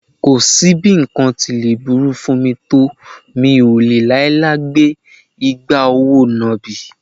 Kò sí bí nǹkan tí lè burú fún mi tó mí ò lè láíláí gbé igbá òwò nàbì